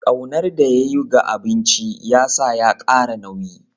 Ƙaunar da ya yi ga abinci ya sa ya ƙara nauyi.